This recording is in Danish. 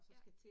Ja